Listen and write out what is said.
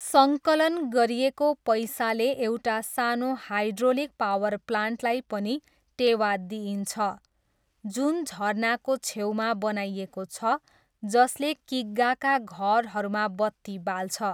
सङ्कलन गरिएको पैसाले एउटा सानो हाइड्रोलिक पावर प्लान्टलाई पनि टेवा दिइन्छ, जुन झरनाको छेउमा बनाइएको छ जसले किग्गाका घरहरूमा बत्ती बाल्छ।